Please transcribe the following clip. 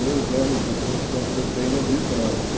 Dois anos depois completei no Rio Branco.